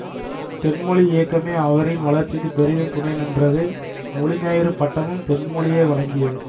தென்மொழி இயக்கமே அவரின் வளர்ச்சிக்கு பெரிதும் துணைநின்றது மொழிஞாயிறு பட்டமும் தென்மொழியே வழங்கியது